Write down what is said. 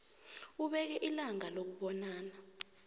ubeke ilanga lokubonana